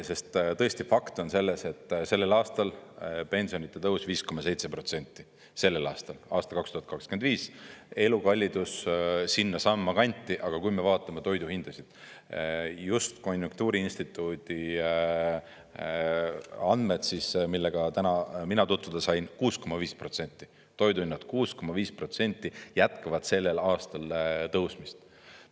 Sest tõesti fakt on selles, et sellel aastal pensionitõus 5,7%, sellel aastal, aastal 2025, elukallidus sinnasamma kanti, aga kui me vaatame toiduhindasid, just konjunktuuriinstituudi andmed, millega täna mina tutvuda sain, 6,5% – toiduhinnad 6,5% jätkavad sellel aastal tõusmist.